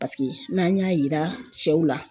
Paseke n'an y'a yira cɛw la